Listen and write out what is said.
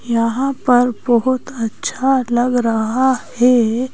यहां पर बहुत अच्छा लग रहा है।